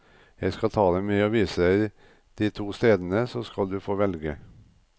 Jeg skal ta deg med og vise deg de to stedene, så skal du få velge.